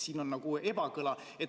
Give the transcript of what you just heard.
Siin on nagu ebakõla.